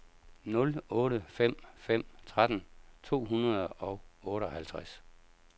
nul otte fem fem tretten to hundrede og otteoghalvtreds